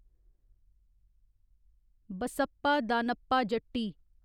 Basappa Danappa Jatti